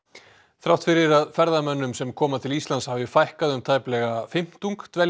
þrátt fyrir að ferðamönnum sem koma til Íslands hafi fækkað um tæpan fimmtung